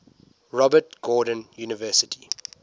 robert gordon university